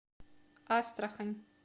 астрахань